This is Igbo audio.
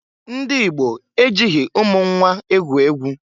Ndị Igbo ejighi umu nnwa egwu egwu.